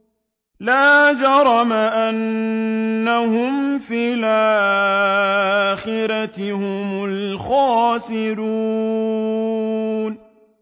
لَا جَرَمَ أَنَّهُمْ فِي الْآخِرَةِ هُمُ الْخَاسِرُونَ